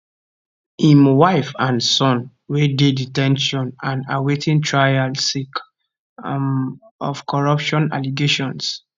im wife and son wey dey de ten tion and awaiting trial sake um of corruption allegations